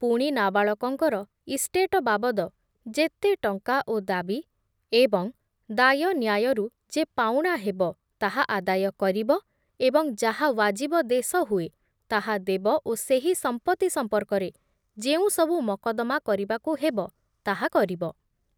ପୁଣି ନାବାଳକଙ୍କର ଇଷ୍ଟେଟ ବାବଦ ଯେତେ ଟଙ୍କା ଓ ଦାବୀ ଏବଂ ଦାୟ ନ୍ୟାୟରୁ ଯେ ପାଉଣା ହେବ ତାହା ଆଦାୟ କରିବ ଏବଂ ଯାହା ୱାଜିବ ଦେଶ ହୁଏ ତାହା ଦେବ ଓ ସେହି ସଂପତ୍ତି ସଂପର୍କରେ ଯେଉଁ ସବୁ ମକଦ୍ଦମା କରିବାକୁ ହେବ ତାହା କରିବ ।